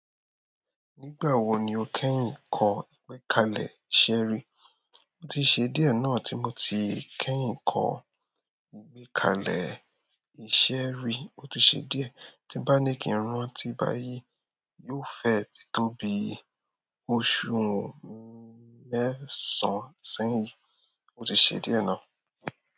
Nígbà wo ni o kẹ́yìn kọ ìgbékalẹ̀ ìṣeré? O ti ṣe díẹ̀ náà tí mo ti kẹ́yìn kọ ìgbékalẹ̀ ìṣeré, o ti ṣe díẹ̀. Tí bá ní kí n rántí báyìí yóò fẹ́ ti tó bíi. Oṣù mẹ́sàn-án sẹ́yìn. O ti ṣe díẹ̀ náà.